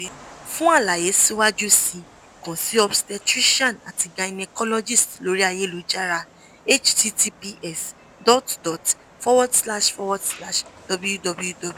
fun alaye siwaju sii kan si obstetrician ati gynecologist lori ayelujara https dot dot forward slash forward slash www